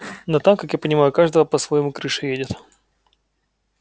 но там как я понимаю у каждого по-своему крыша едет